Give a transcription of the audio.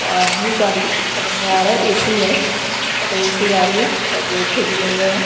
और न्यू गाड़ी समझ में आ रहा है ए_सी है मतलब ए_सी गाड़ी है पर्दे वर्दे दिए हुए हैं।